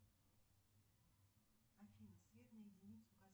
афина свет на единицу